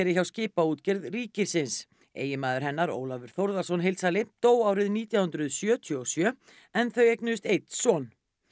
hjá Skipaútgerð ríkisins eiginmaður hennar Ólafur Þórðarson heildsali dó árið nítján hundruð sjötíu og sjö en þau eignuðust einn son